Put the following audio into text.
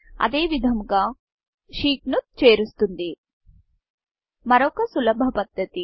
ఇది అదేవిధంగా sheetషీట్ ను చేరుస్తుంది మరొక సులభ పద్దతి